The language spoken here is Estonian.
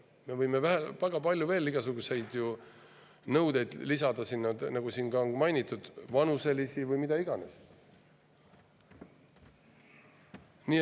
Me võime sinna lisada veel väga palju igasugu nõudeid, nagu siin on mainitud, vanuselisi või mis iganes.